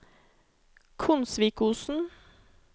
Konsvikosen